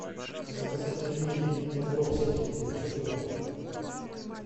заказать пельмени добровские девятьсот грамм